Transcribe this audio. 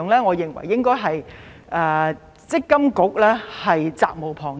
我認為積金局責無旁貸。